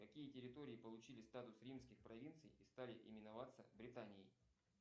какие территории получили статус римских провинций и стали именоваться британией